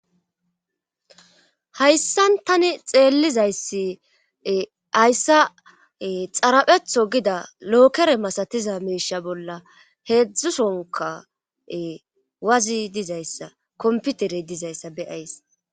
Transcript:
Hayssan tani xeellizayssi ayssa xarapetho gida lookere masatiza meesha bolla heedzdzusonka wazi dizayssa komputerey dizayssa beyays.